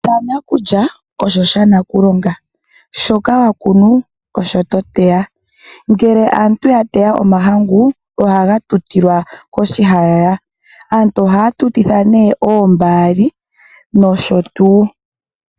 Shanakulya osho shanakulonga. Shoka wakuna osho toteya. Ngele aantu yateya omahangu ohaga titilwa koshihayaya. Aantu ohaa tutitha oombaali noshotuu.